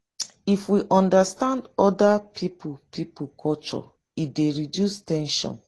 if we understand oda pipo pipo culture e dey reduce ten sion